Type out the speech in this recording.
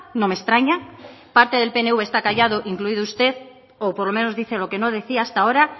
no me extraña parte del pnv esta callado incluido usted o por lo menos dice lo que no decía hasta ahora